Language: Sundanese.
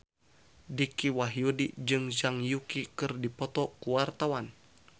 Dicky Wahyudi jeung Zhang Yuqi keur dipoto ku wartawan